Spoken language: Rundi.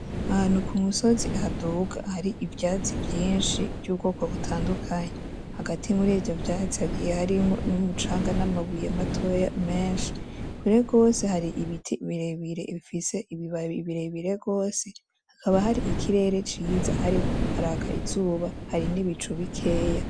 Ahantu kumusozi haduga hari ivyatsi vyinshi vyubwoko butandukanye. Hagati muri vyo vyatsi hagiye harimo numucanga, namabuye matoya menshi. Kure gose hari ibiti birebire bifise ibibabi birebire gose hakaba hari ikirere ciza hariko haraka izuba hari nibicu bikeya.